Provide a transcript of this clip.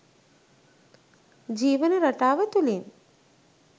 ජීවන රටාව තුලින්.